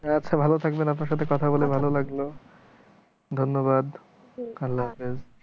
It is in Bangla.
আচ্ছা ভালো থাকবেন আপনার সাথে কথা বলে ভালো লাগলো ধন্যবাদ। আল্লা হাফেজ